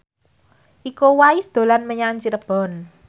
Iko Uwais dolan menyang Cirebon